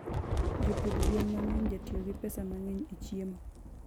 jopidh gwen mangeny jatiyo gi pesa mangeny e chiemo